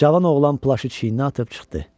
Cavan oğlan plaşı çiyninə atıb çıxdı.